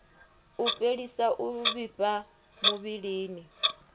u fhelisa u vhifha muvhilini